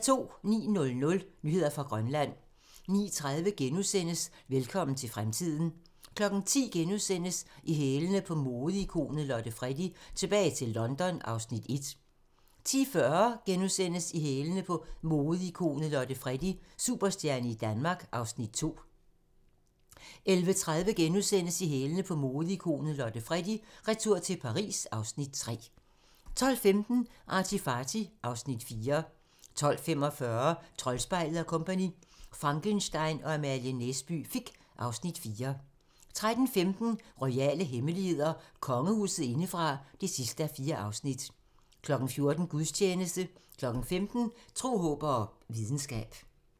09:00: Nyheder fra Grønland 09:30: Velkommen til fremtiden - præstation * 10:00: I hælene på modeikonet Lotte Freddie: Tilbage i London (Afs. 1)* 10:45: I hælene på modeikonet Lotte Freddie: Superstjerne i Danmark (Afs. 2)* 11:30: I hælene på modeikonet Lotte Freddie: Retur til Paris (Afs. 3)* 12:15: ArtyFarty (Afs. 4) 12:45: Troldspejlet & Co - Frankenstein og Amalie Næsby Fick (Afs. 4) 13:15: Royale hemmeligheder: Kongehuset indefra (4:4) 14:00: Gudstjeneste 15:00: Tro, håb og videnskab